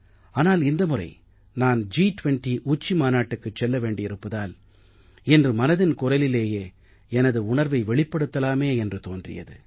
ஆனால் இந்த முறை நான் ஜி 20 உச்சி மாநாட்டுக்குச் செல்ல வேண்டியிருப்பதால் இன்று மனதின் குரலிலேயே எனது உணர்வை வெளிப்படுத்தலாமே என்று தோன்றியது